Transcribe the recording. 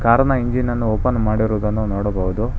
ಕಾರ ನ್ನ ಇಂಜಿನ ನ್ನ ಓಪನ್ ಮಾಡಿರೋದನ್ನು ನೋಡಬಹುದು.